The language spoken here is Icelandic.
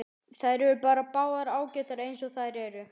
Þær eru bara báðar ágætar eins og þær eru.